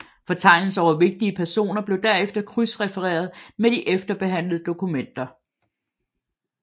Fortegnelser over vigtige personer blev derefter krydsrefereret med de efterbehandlede dokumenter